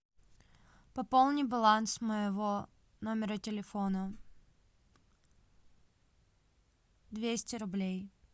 пополни баланс моего номера телефона двести рублей